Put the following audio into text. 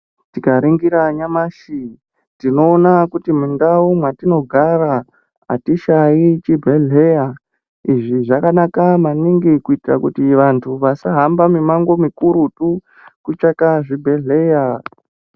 Tikaningira nyamashi tinona kuti mundau mwatinogara hatishai chibhedhleya. Izvi zvakanaka maningi kuitara kuti vantu vasahamba mimango mikurutu kutsvaka zvibhedhleya.